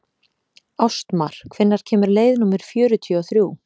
Ástmar, hvenær kemur leið númer fjörutíu og þrjú?